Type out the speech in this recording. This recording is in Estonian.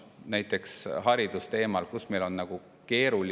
Näiteks haridusteema.